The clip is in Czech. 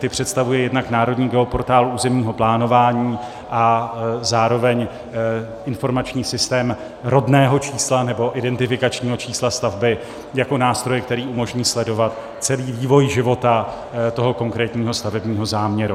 Ty představuje jednak Národní geoportál územního plánování a zároveň informační systém rodného čísla nebo identifikačního čísla stavby jako nástroj, který umožní sledovat celý vývoj života toho konkrétního stavebního záměru.